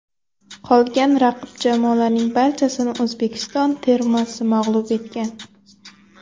Qolgan raqib jamoalarning barchasini O‘zbekiston termasi mag‘lub etgan.